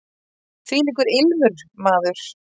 Þvílíkur ilmur, maður!